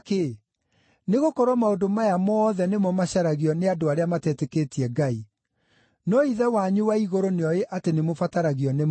Nĩgũkorwo maũndũ maya mothe nĩmo macaragio nĩ andũ arĩa matetĩkĩtie Ngai. No Ithe wanyu wa igũrũ nĩoĩ atĩ nĩmũbataragio nĩmo.